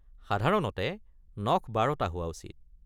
সাধাৰণতে নখ ১২ টা হোৱা উচিত।